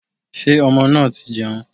Sé ọmọ náà ti jẹun